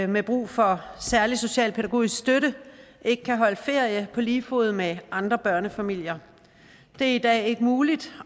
med brug for særlig socialpædagogisk støtte ikke kan holde ferie på lige fod med andre børnefamilier det er i dag ikke muligt